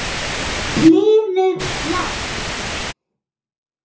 Hlynur hlær.